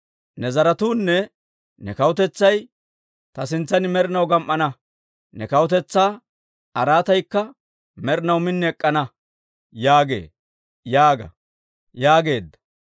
Ne zaratuunne ne kawutetsay ta sintsan med'inaw gam"ana; ne kawutetsaa araataykka med'inaw min ek'k'ana» yaagee› yaaga» yaageedda.